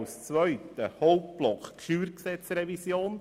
Als zweiten Hauptblock behandeln wir die StG-Revision.